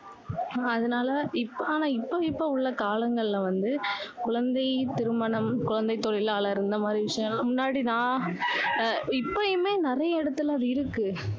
ஆஹ் அதனால, இப்~ஆனா, இப்போ இப்போ உள்ள காலங்களில வந்து குழந்தை திருமணம், குழந்தை தொழிலாளர் இந்த மாதிரி விஷயம் எல்லாம், முன்னாடி நான், அஹ் இப்பயுமே நிறைய இடத்துல அது இருக்கு.